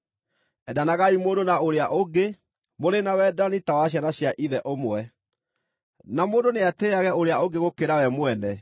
Endanagai mũndũ na ũrĩa ũngĩ, mũrĩ na wendani ta wa ciana cia ithe ũmwe. Na mũndũ nĩatĩĩage ũrĩa ũngĩ gũkĩra we mwene.